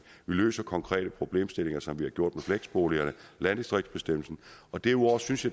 vi løser konkrete problemstillinger som vi har gjort med fleksboligerne landdistriktsbestemmelsen og derudover synes